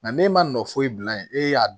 Nka n'e ma nɔ foyi bila yen e y'a